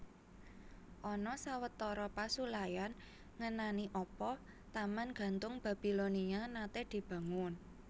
Ana sawetara pasulayan ngenani apa Taman Gantung Babilonia naté dibangun